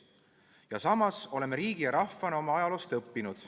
Ja samas oleme riigi ja rahvana oma ajaloost õppinud.